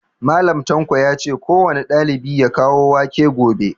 Mallam tanko yace kowane ɗalibi ya kawo wake gobe